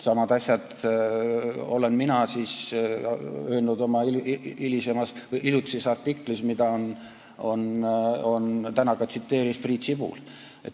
Samad asjad olen mina öelnud oma hiljutises artiklis, mida täna tsiteeris ka Priit Sibul.